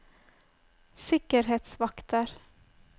sikkerhetsvakter